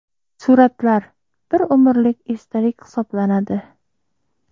Suratlar – bir umrlik esdalik hisoblanadi.